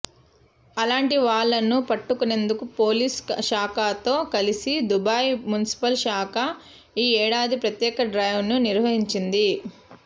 అలాంటి వాళ్లను పట్టుకునేందుకు పోలీస్ శాఖతో కలిసి దుబాయ్ మున్సిపల్ శాఖ ఈ ఏడాది ప్రత్యేక డ్రైవ్ను నిర్వహించింది